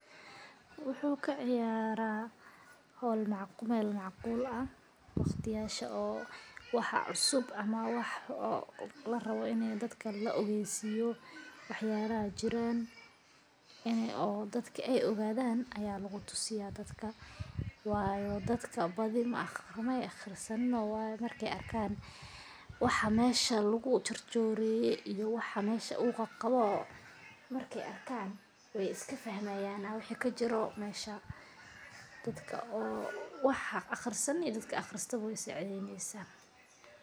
Wuxu kaciyara meel macqul aha waqtiyada oo waxa cusub ama larawo ini dadka laogeysiyo waxyabaha jiran oo dadka ogadan aya llugutusiya dadka wayo dadka badii mey aqrasanino markey arkan waxa meesha uu qawo wey iskafahmayan waxa kajiro meesha dadka an aqrisanin iyo kuwa aqristada wey sacidneysa.